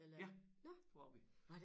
Ja det var vi